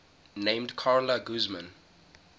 named carla guzman